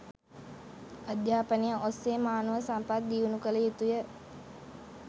අධ්‍යාපනය ඔස්සේ මානව සම්පත් දියුණු කළ යුතුය.